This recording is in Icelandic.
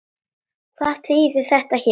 Hvað þýðir þetta hér?